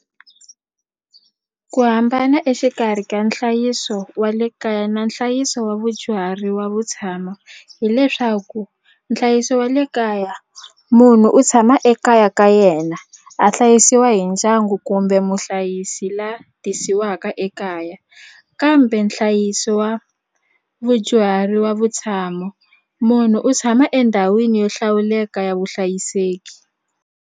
Ku hambana exikarhi ka nhlayiso wa le kaya na nhlayiso wa vudyuhari wa vutshamo hileswaku nhlayiso wa le kaya munhu u tshama ekaya ka yena a hlayisiwa hi ndyangu kumbe muhlayisi la tisiwaka ekaya kambe nhlayiso wa vudyuhari wa vutshamo munhu u tshama endhawini yo hlawuleka ya vuhlayiseki.